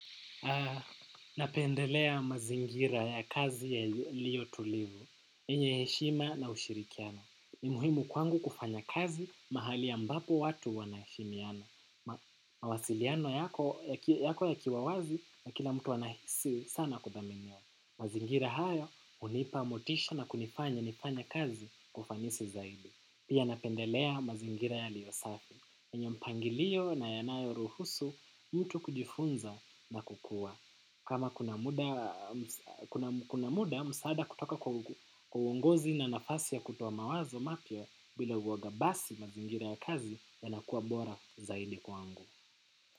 Napendelea mazingira ya kazi yaliyotulivu yenye heshima na ushirikiano. Ni muhimu kwangu kufanya kazi mahali ambapo watu wanaheshimiana. Mawasiliano yako yakiwa wazi na kila mtu anahisi sana kudhaminiwa. Mazingira haya hunipa motisha na kunifanya nifanye kazi kwa ufanisi zaidi. Pia napendelea mazingira yaliyo safi yenye mpangilio na yanayo ruhusu mtu kujifunza na kukua. Kama kuna muda msaada kutoka kwa uongozi na nafasi ya kutoa mawazo mapya bila uoga basi mazingira ya kazi yanakua bora zaidi kwangu.